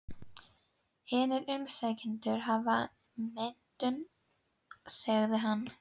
Hinir umsækjendurnir hafa menntun, segir hann.